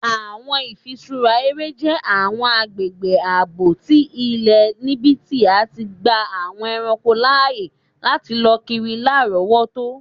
Awọn ifiṣura ere jẹ awọn agbegbe aabo ti ilẹ nibiti a ti gba awọn ẹranko laaye lati lọ kiri larọwọto.